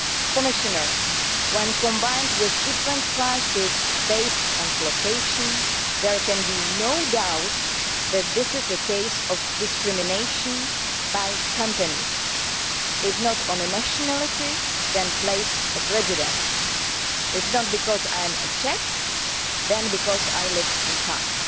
Commissioner, when combined with different prices based on location, there can be no doubt that this is a case of discrimination by companies, based if not on nationality then on place of residence discrimination if not because I am Czech then because I live in Prague.